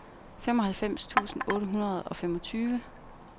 femoghalvfems tusind otte hundrede og femogtyve